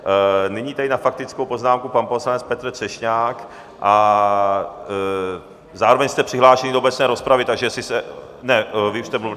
Nyní tedy na faktickou poznámku pan poslanec Petr Třešňák a zároveň jste přihlášen do obecné rozpravy, takže jestli se... ne, vy už jste mluvil.